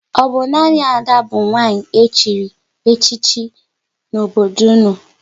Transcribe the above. Ọ bụ nanị Ada bụ nwanyị chịrị echichi n'obodo unu?